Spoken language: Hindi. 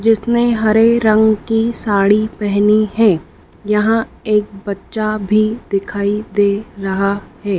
जि सने हरे रंग की साड़ी पहनी है यहां एक बच्चा भी दिखाई दे रहा है।